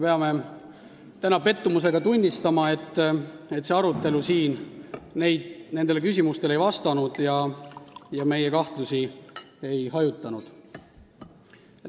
Peame täna pettumusega tunnistama, et see arutelu siin nendele küsimustele ei vastanud ja meie kahtlusi ei hajutanud.